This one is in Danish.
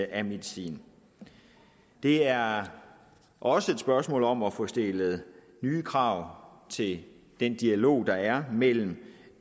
af medicin det er også et spørgsmål om at få stillet nye krav til den dialog der er mellem